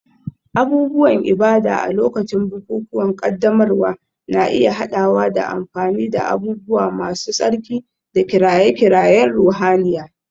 Abubuwan ibada a lokacin bukukuwan ƙaddamarwa na iya haɗawa da amfani da abubuwa masu tsarki da kiraye-kirayen ruhaniya.